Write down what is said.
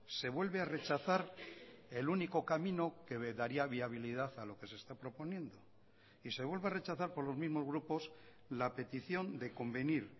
se vuelve a rechazar el único camino que daría viabilidad a lo que se está proponiendo y se vuelve a rechazar por los mismos grupos la petición de convenir